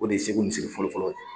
O de ye segu misiri fɔlɔ fɔlɔ ye.